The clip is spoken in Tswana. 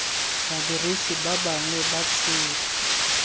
badirisi ba bangwe ba tsela